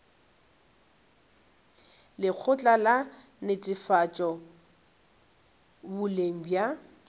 lekgotla la netefatšo boleng bja